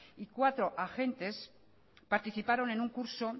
y cuatro agentes participaron en un curso